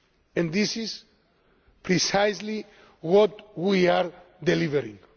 And this is precisely what we are delivering.